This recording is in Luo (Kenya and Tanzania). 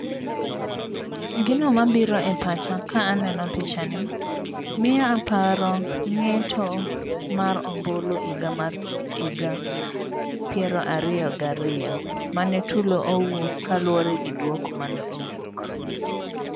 Gino mabiro e pacha ka aneno picha ni miyo aparo ngeto mar ombulu higa mar piero ariyo gariyo mane tulo owuok kaluwore gi duoko mane owuok